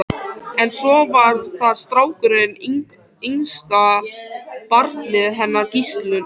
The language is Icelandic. En svo var það strákurinn, yngsta barnið hennar Gíslínu.